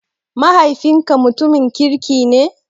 Mahaifinka mutumin kirki ne?